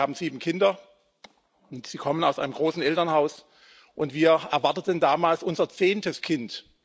Wir wussten, Sie haben sieben Kinder, Sie kommen aus einem großen Elternhaus, und wir erwarteten damals unser zehntes Kind.